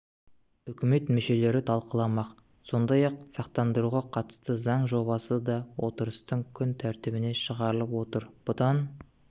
үкімет мүшелері талқыламақ сондай-ақ сақтандыруға қатысты заң жобасы да отырыстың күн тәртібіне шығарылып отыр бұдан